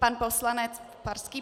Pan poslanec Farský.